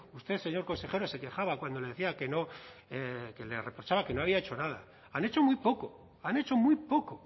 usted señor consejero se quejaba cuando le decía que no que le reprochaba que no había hecho nada han hecho muy poco han hecho muy poco